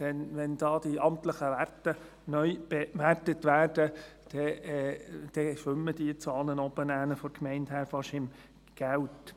Denn wenn diese amtlichen Werte neu bewertet werden, schwimmen die von der Gemeinde Saanen dort oben wahrscheinlich im Geld.